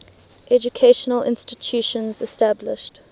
educational institutions established